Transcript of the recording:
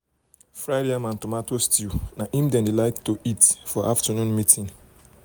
fried yam and tomato stew nai they de like eat for afternoon meeting